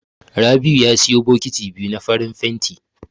Rabi'u ya siyo bokiti biyu na farin fenti.